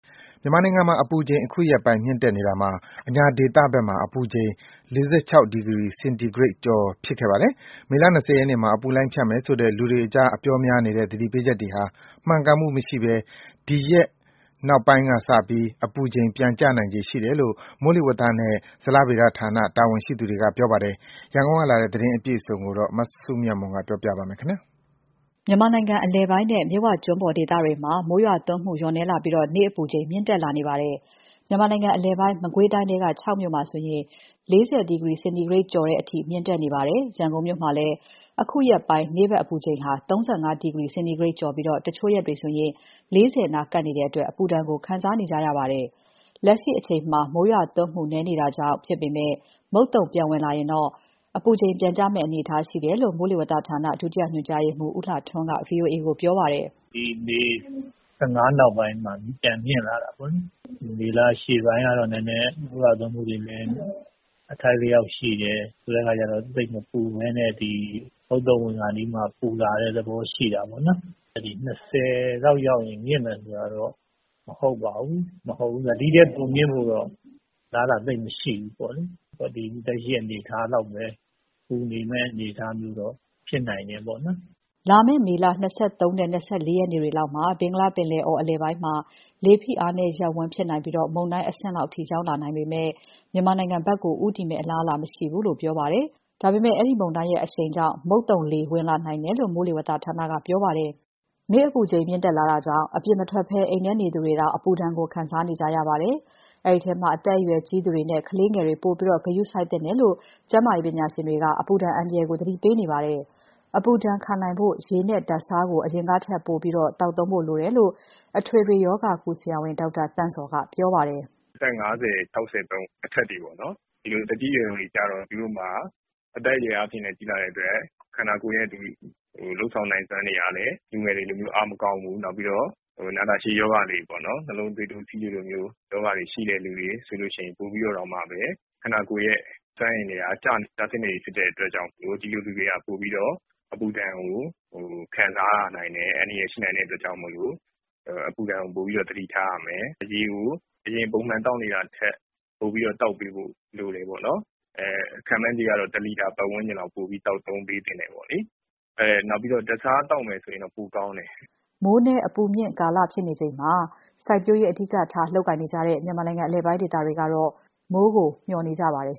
မြန်မာနိုင်ငံမှာ အပူချိန် အခုရက်ပိုင်း မြင့်တက်နေတာမှာ အညာဒေသဘက်မှာ အပူချိန် ၄၆ ဒီဂရီ စင်တီဂရိတ် ကျော်ဖြစ်ခဲ့ပါတယ်။ မေလ ၂၀ ရက်နေ့မှာ အပူလှိုင်းဖြတ်မယ်ဆိုတဲ့ လူတွေကြား အပြောများနေတဲ့ သတိပေးချက်တွေဟာ မှန်ကန်မှု မရှိဘဲ အဲဒီရက်နောက်ပိုင်းကစပြီး အပူချိန်ပြန်ကျနိုင်ခြေရှိတယ်လို့ မိုးလေဝသနဲ့ ဇလဗေဒဌာနတာဝန်ရှိသူက ပြောပါတယ်။ ရန်ကုန်ကလာတဲ့ ဒီသတင်းအပြည့်အစုံကို မစုမြတ်မွန်ပြောပြမှာပါ။ မြန်မာနိုင်ငံ အလယ်ပိုင်းနဲ့ မြစ်ဝကျွန်းပေါ်ဒေသတွေမှာ မိုးရွာသွန်းမှု လျော့နည်းလာပြီး နေ့အပူချိန်မြင့်တက်လာနေပါတယ်။ မြန်မာနိုင်ငံအလယ်ပိုင်း မကွေးတိုင်းထဲက ချောက်မြို့မှာဆို နေ့ အပူချိန်ဟာ ၄၀ ဒီဂရီစင်တီဂရိတ် ကျော်တဲ့အထိ မြင့်တက်နေပါတယ်။ ရန်ကုန်မြို့မှာလည်း အခုရက်ပိုင်း နေ့ဘက် အပူချိန်ဟာ ၃၅ ဒီဂရီစင်တီဂရိတ် ကျော်ပြီး တချို့ရက်တွေ ၄၀ နားကပ်နေတဲ့အတွက် အပူဒဏ်ကို ခံစားနေကြရပါတယ်။ လက်ရှိအချိန်မှာ မိုးရွာသွန်းမှု နည်းနေတာကြောင့်ဖြစ်ပေမဲ့ မုတ်သုံပြန်ဝင်လာရင်တော့ အပူချိန်ပြန်ကျမယ့်အနေအထားမှာရှိတယ်လို့ မိုးလေဝသဌာန ဒုတိယညွှန်ကြားရေးမှူး ဦးလှထွန်းက ဗွီအိုအေကိုပြောပါတယ်။ “မေလ ၁၅ ရက် နောက်ပိုင်းမှာ အပူချိန်ပြန်မြင့်လာတာပေါ့။ မေလ အရှေ့ပိုင်းကတော့ မိုးရွာသွန်းမှုတွေလည်း အထိုက်အလျောက်ရှိတယ်။ ဆိုတဲ့အခါကျတော့ သိပ်မပူဘဲနဲ့ မုတ်သုံဝင်ခါနီးမှာ ပူလာတဲ့သဘောရှိတာပေါ့။ လာမယ့် ၂၀ ရက်နေ့လောက်ရောက်ရင် အပူချိန်မြင့်မယ်ဆိုတာကတော့ မဟုတ်ပါဘူး။ ဒီထက် အပူချိန်ပိုမြင့်ဖို့တော့ အလားအလာ သိပ်မရှိဘူး။ အခုလက်ရှိ ပူနေတဲ့အနေအထားမျိုးတော့ ဖြစ်နိုင်တယ်။ ဆက်ပြီး အများကြီး အပူချိန်တက်လာမယ့် အနေအထားမျိုးတော့ မရှိဘူး။” လာမယ့် မေလ ၂၃ နဲ့ ၂၄ ရက်နေ့တွေလောက်မှာ ဘင်္ဂလားပင်လယ်အော် အလယ်ပိုင်းမှာ လေဖိအားနည်းရပ်ဝန်းဖြစ်နိုင်ပြီး မုန်တိုင်းအဆင့်လောက်ထိ ရောက်လာနိုင်ပေမယ့် မြန်မာနိုင်ငံဘက် ဦးတည်မယ့်အလားအလာ မရှိဘူးလို့ ပြောပါတယ်။ ဒါပေမဲ့ ဒီမုန်တိုင်းရဲ့အရှိန်ကြောင့် မုတ်သုံလေဝင်လာနိုင်တယ်လို့ မိုးလေဝသဌာနက ပြောပါတယ်။ နေ့အပူချိန်မြင့်လာတာကြောင့် အပြင်မထွက်ဘဲ အိမ်ထဲနေသူတွေတောင် အပူဒဏ်ကို ခံနေရပါတယ်။ အဲဒီထဲမှာ အသက်ရွယ်ကြီးသူတွေနဲ့ ကလေးငယ်တွေ ပိုပြီး ဂရုစိုက်သင့်တယ်လို့ ကျန်းမာရေးပညာရှင်တွေက အပူဒဏ်အန္တရာယ်ကို သတိပေးနေပါတယ်။ အပူဒဏ်ခံနိုင်ဖို့ ရေနဲ့ ဓာတ်ဆားကို အရင်ကထက်ပိုပြီး မှီဝဲဖို့လိုတယ်လို့လည်း အထွေထွေရောဂါကု ဆရာဝန် ဒေါက်တာသန့်ဇော်က ပြောပါတယ်။ “အသက် ၅၀၊ ၆၀ အထက်တွေက သူတို့မှာ အသက်အရွယ်လည်း ကြီးလာတော့ ခန္ဓာကိုယ်ရဲ့ လုပ်ဆောင်နိုင်စွမ်းတွေက လူငယ်တွေလိုမျိုး အားမကောင်းဘူး။ နာတာရှည်ရောဂါ - နှလုံး၊ သွေးတိုး၊ ဆီးချိုလို ရောဂါတွေရှိတဲ့သူဆို ပိုပြီးတော့ ခန္ဓာကိုယ်ရဲ့စွမ်းအင်တွေက ကျဆင်းနေပြီဖြစ်လို့ ဒီလိုလူတွေက ပိုပြီးတော့ အပူဒဏ်ကို ခံစားရနိုင်တယ်။ အန္တရာယ်ရှိနိုင်တဲ့ အတွက်ကြောင့်မို့လို့ အပူဒဏ်ကို ပိုပြီးတော့ သတိထားရမယ်။ ရေကို အရင်ပုံမှန်သောက်နေတာထက် ၁ လီတာပတ်ဝန်းကျင်လောက် ပိုပြီးတော့ သောက်သုံးပေးသင့်တယ်။ ဓာတ်ဆားရည်သောက်မယ်ဆိုရင်တော့ ပိုကောင်းတယ်။” မိုးနည်း အပူမြင့်ကာလဖြစ်နေချိန်မှာ စိုက်ပျိုးရေးအဓိကထား လုပ်ကိုင်နေတဲ့ မြန်မာနိုင်ငံအလယ်ပိုင်းဒေသတွေကတော့ မိုးကို မေ ျှာ်နေကြပါတယ်